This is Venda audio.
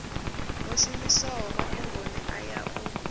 wo shumiswaho mafhungoni aya u